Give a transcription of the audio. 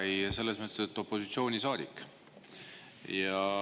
Jaa, selles mõttes, et olen opositsioonisaadik.